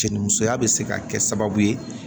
Jɛni musoya bɛ se ka kɛ sababu ye